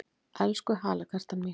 Elsku halakartan mín!